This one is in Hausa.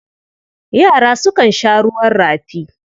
Yara sukan sha ruwan rafi.